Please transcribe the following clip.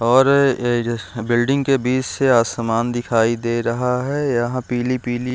और ए जो बिल्डिंग के बीच से आसमान दिखाई दे रहा है यहाँ पीली-पीली--